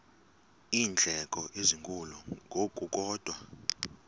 iindleko ezinkulu ngokukodwa